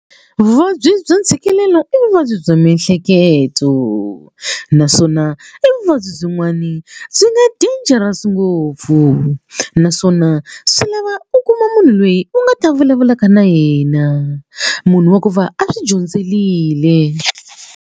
Vuvabyi bya ntshikelelo i vuvabyi bya miehleketo naswona i vuvabyi byin'wani byi nga dangerous ngopfu naswona swi lava u kuma munhu loyi u nga ta vulavulaka na yena munhu wa ku va a swi dyondzerile.